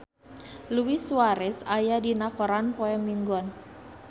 Luis Suarez aya dina koran poe Minggon